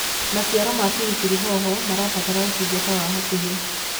maciaro ma biribiri hoho marabatara utungata wa hakuhi